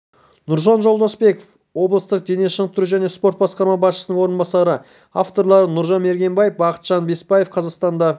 нұржан жолдасбеков облыстық дене шынықтыру және спорт басқармасы басшысының орынбасары авторлары нұржан мергенбай бақытжан бапаев қазақстанда